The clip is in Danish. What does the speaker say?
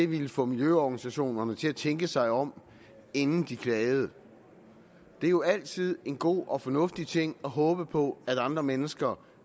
ville få miljøorganisationerne til at tænke sig om inden de klagede det er jo altid en god og fornuftig ting at håbe på at andre mennesker